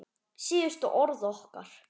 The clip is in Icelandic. Síðustu orð okkar.